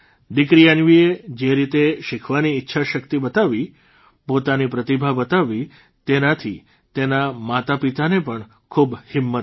દીકરી અન્વીએ જે રીતે શીખવાની ઇચ્છાશક્તિ બતાવી પોતાની પ્રતિભા બતાવી તેનાથી તેના માતાપિતાને પણ ખૂબ હિંમત આવી